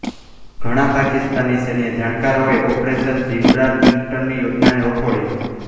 ઘણા પાકિસ્તાની સૈન્ય જાણકારોએ ઓપરેશન જિબ્રાલ્ટરની યોજનાને વખોડી